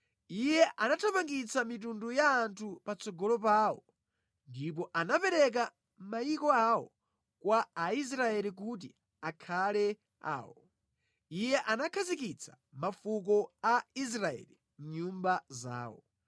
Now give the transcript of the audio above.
Iye anathamangitsa mitundu ya anthu patsogolo pawo ndipo anapereka mayiko awo kwa Aisraeli kuti akhale awo; Iye anakhazikitsa mafuko a Israeli mʼnyumba zawo.